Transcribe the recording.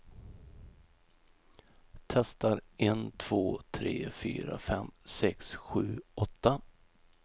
Testar en två tre fyra fem sex sju åtta.